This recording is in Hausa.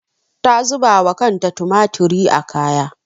Ta zuba wa kanta tumatiri a kaya.